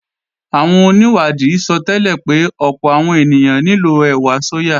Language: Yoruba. Àwọn onìwádìí sọtẹ́lẹ̀ pé ọ̀pọ̀ àwọn ènìyàn nílò ẹ̀wà sóyà